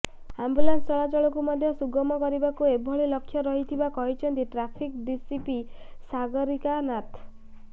ambulance ଚଳାଚଳକୁ ମଧ୍ୟ ସୁଗମ କରିବାକୁ ଏଭଳି ଲକ୍ଷ୍ୟ ରହିଥିବା କହିଛନ୍ତି ଟ୍ରାଫିକ୍ ଡିସିପି ସାଗରିକା ନାଥ